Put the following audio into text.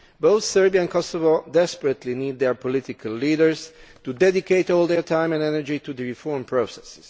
Both Serbia and Kosovo desperately need their political leaders to dedicate all their time and energy to the reform process.